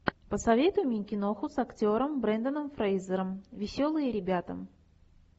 посоветуй мне киноху с актером бренданом фрейзером веселые ребята